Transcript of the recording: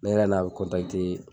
Ne nana n